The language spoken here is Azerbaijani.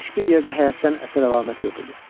Heç bir yerdə həyatdan əsər əlamət yox idi.